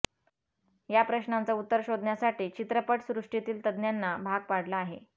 या प्रश्नाचं उत्तर शोधण्यासाठी चित्रपटसृष्टीतील तज्ज्ञांना भाग पाडलं आहे